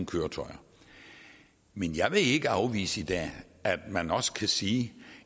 køretøjer men jeg vil ikke afvise i dag at man også kan sige at